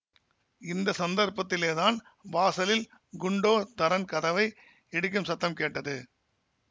இந்த சந்தர்ப்பத்திலேதான் வாசலில் குண்டோ தரன் கதவை இடிக்கும் சத்தம் கேட்டது